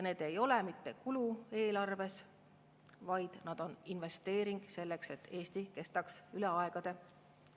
Need ei ole mitte kulu eelarves, vaid need on investeering selleks, et Eesti kestaks üle aegade.